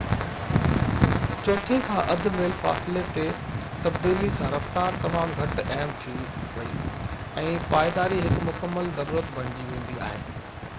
چوٿين کان اڌ ميل فاصلي تي تبديلي سان رفتار تمام گهٽ اهم ٿي وئي ۽ پائيداري هڪ مڪمل ضرورت بڻجي ويندي آهي